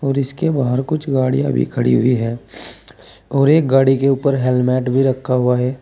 और इसके बाहर कुछ गाड़ियां भी खड़ी हुई है और एक गाड़ी के ऊपर हेलमेट भी रखा हुआ है।